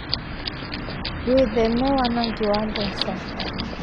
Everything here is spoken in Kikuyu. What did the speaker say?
Wĩtheme wanagi wa mbeca